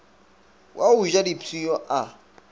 wa go ja dipshio a